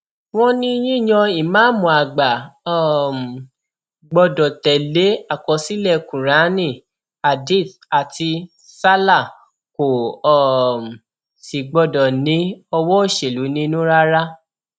wọn ní yíyan ìmáàmù àgbà um gbọdọ tẹlé àkọsílẹ kuraani hadith àti sallah kò um sì gbọdọ ní owó òṣèlú nínú rárá